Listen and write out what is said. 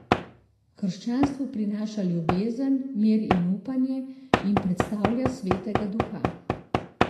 V krščanstvu prinaša ljubezen, mir in upanje in predstavlja svetega duha.